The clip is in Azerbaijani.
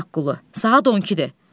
Şaqqulu, saat 12-dir.